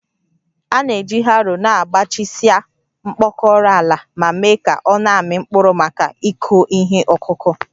A na-eji harrow na-agbajisịa mkpọkọrọ ala ma mee ka ọ na-amị mkpụrụ maka ịkụ ihe ọkụkụ